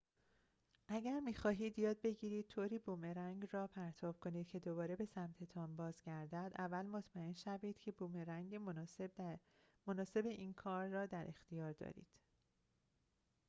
اگر می‌خواهید یاد بگیرید طوری بومرنگ را پرتاب کنید که دوباره به سمت‌تان بازگردد اول مطمئن شوید که بومرنگ مناسب این کار را در اختیار دارید